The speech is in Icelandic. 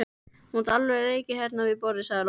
Þú mátt alveg reykja hérna við borðið, sagði Lóa.